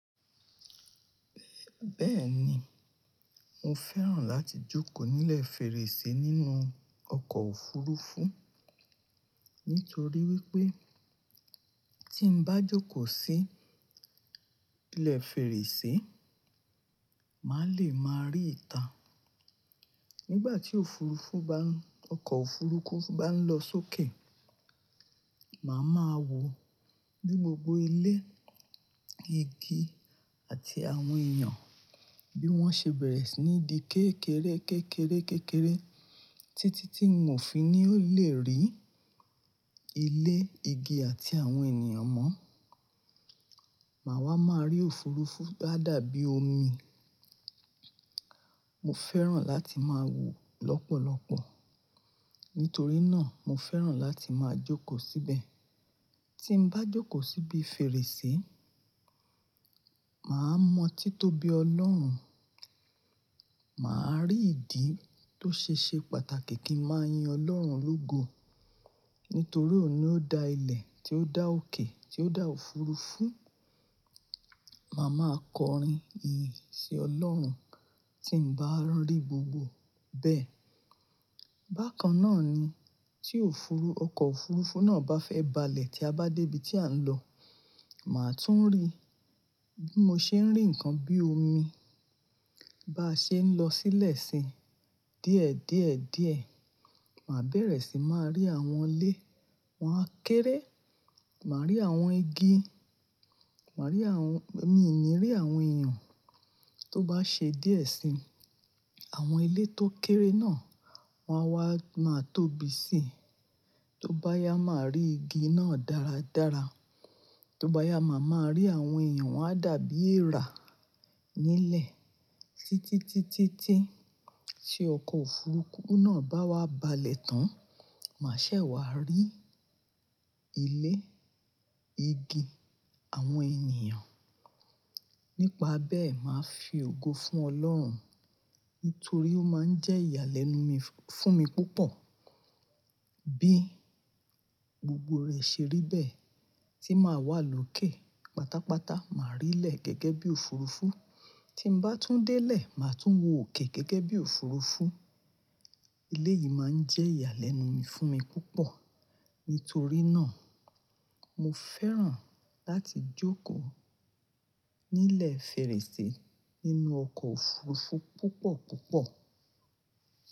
Bẹ́ẹ̀ ni, mo fẹ́ràn láti jókòó nílẹ̀ fèrèsé nínú ọkọ̀ òfurufú nítorí wípé tí n bá jókòó sí ilẹ̀ fèrèsé, mà le máa rí ìtà. Nígbà tí òfurufú ba, ọkọ̀ òfurufú bá ń lọ sókè, mà máa wo ní gbogbo ilé, igi àti àwọn èèyàn bí wọ́n ṣe bẹ̀rẹ̀ sí ní di kékeré, kékeré, kékeré títí tí n ò fi ní lè rí ilé, igi àti àwọn ènìyàn mọ́. Mà wá máa rí òfurufú dáadáa bí omi. Mo fẹ́ràn láti máa wo lọ́pọ̀lọ́pọ̀ nítorí náà mo fẹ́ràn láti máa jókòó síbẹ̀. Tí n bá jókòó síbi fèrèsé, mà á mọ títóbi Ọlọ́run. Mà á rí ìdí tó ṣe ṣe pàtàkì kí n máa yin Ọlọ́run lógo nítorí òun ni ó da ilẹ̀, tí ó dá òkè, tí ó da òfurufú. Mà á máa kọrin ìyìn sí Ọlọ́run tí n bá rí gbogbo bẹ́ẹ̀. Bákan náà ni tí òfurufú, ọkọ̀ òfurufú náà bá fẹ́ balẹ̀ tí a bá dé ibi tí à ń lọ, mà tún rí bí mo ṣe ń rí nǹkan bí omi bá ṣe ń lọ sílẹ̀ sí díẹ̀ díẹ̀ díẹ̀. Mà bẹ̀rẹ̀ sí máa rí àwọn ilé, wọ́n á kéré. Mà rí àwọn igi, mà rí àwọn, èmi ò ní rí àwọn èèyàn. Tó bá ṣe díẹ̀ sí, àwọn ilé tó kéré náà wọ́n á wá máa tóbi sí. Tó bá yá, mà á rí igi náà dáradára. Tó bá yá, mà máa rí àwọn èèyàn wọ́n á dàbí eèrà nílẹ̀ títí, títí, tí í ṣe ọkọ̀ òfurufú náà bá wá balẹ̀ tán. Mà ṣẹ̀ wá rí ilé, igi, àwọn ènìyàn. Nípa bẹ́ẹ̀, mà á fi ògo fún Ọlọ́run nítorí ó máa ń jẹ́ ìyàlẹ́nu mi fún mi púpọ̀ bí gbogbo rẹ̀ ṣe rí bẹ́ẹ̀ tí mà wà lókè pátápátá. Mà rí ilẹ̀ gẹ́gẹ́ bí òfurufú. Tí n bá tún délé, mà tún wo òkè gẹ́gẹ́ bí òfurufú. Ilé yìí má ń jẹ́ ìyàlẹ́nu mi fún mi púpọ̀ nítorí náà mo fẹ́ràn láti jókòó nílẹ̀ fèrèsé nínú ọkọ̀ òfurufú púpọ̀ púpọ̀.